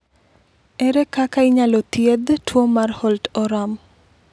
Ere kaka inyalo thiedh tuwo mar Holt Oram?